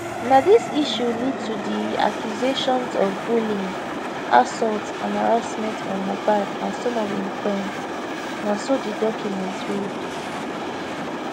na dis issue lead to di accusations of bullying assault and harassment on mohbad and some of im friends na so di document read